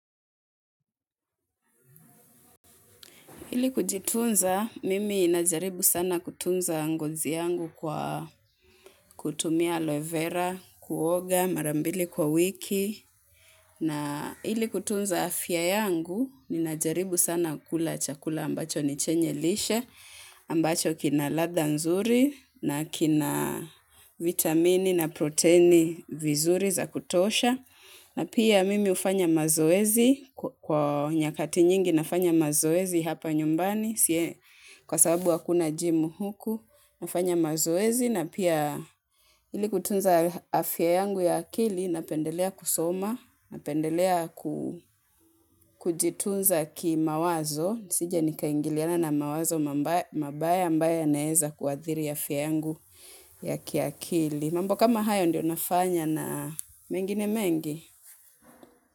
Ili kujitunza, mimi najaribu sana kutunza ngozi yangu kwa kutumia aloe vera, kuoga, mara mbili kwa wiki. Na ili kutunza afya yangu ninajaribu sana kula chakula ambacho ni chenye lishe ambacho kina ladha nzuri na kina vitamini na protini vizuri za kutosha na pia mimi hufanya mazoezi kwa nyakati nyingi nafanya mazoezi hapa nyumbani kwa sababu hakuna jimu huku nafanya mazoezi na pia ili kutunza afya yangu ya akili napendelea kusoma, napendelea kujitunza kimawazo nisije nikaingiliana na wawazo mabaya ambayo yanaeza kuathiri afya yangu ya kiakili mambo kama hayo ndiyo nafanya na mengine mengi.